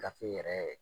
Gafe yɛrɛ